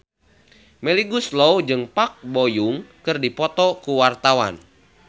Melly Goeslaw jeung Park Bo Yung keur dipoto ku wartawan